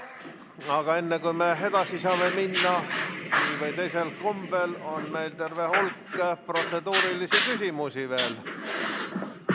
Aga enne, kui me edasi saame minna ühel või teisel kombel, on meil terve hulk protseduurilisi küsimusi veel.